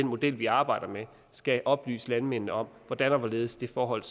model vi arbejder med skal oplyse landmændene om hvordan og hvorledes det forhold